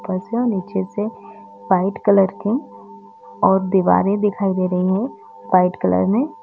ऊपर से नीचे से वाइट कलर के और दीवारें दिखाई दे रही है वाइट कलर में --